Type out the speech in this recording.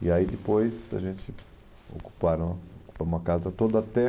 E aí depois a gente se ocuparam ocupamos a casa toda até .